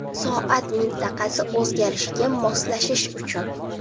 Soat mintaqasi o‘zgarishiga moslashish uchun.